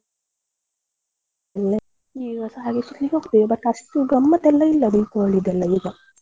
ಎಲ್ಲ ಈಗಸ ಹಾಗೆ ಹೋಗ್ತೆವೆ but ಅಷ್ಟು ಗಮ್ಮತ್ ಎಲ್ಲ ಇಲ್ಲ Deepavali ದೆಲ್ಲ ಈಗ.